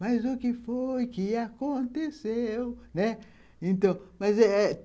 Mas o que foi que aconteceu, né?